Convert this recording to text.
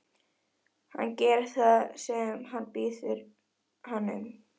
Hann gerir það sem hún biður hann um.